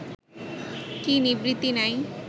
কি নিবৃত্তি নাই